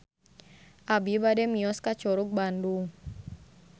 Abi bade mios ka Curug Bandung